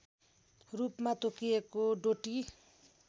रूपमा तोकिएको डोटी